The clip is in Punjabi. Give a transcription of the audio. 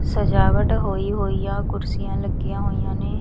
ਸਜਾਵਟ ਹੋਈ ਹੋਈਆਂ ਕੁਰਸੀਆਂ ਲੱਗੀਆਂ ਹੋਈਆਂ ਨੇ।